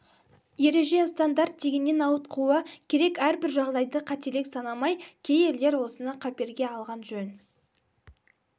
ереже стандарт дегеннен ауытқуы керек әрбір жағдайды қателік санамай кей елдер осыны қаперге алған жөн